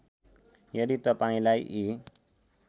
यदि तपाईँंलाई यी